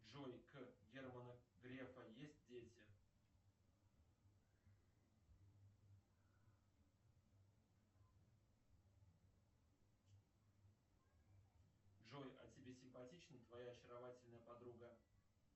джой к германа грефа есть дети джой а тебе симпатична твоя очаровательная подруга